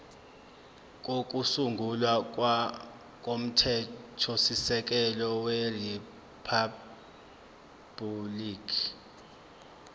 kokusungula komthethosisekelo weriphabhuliki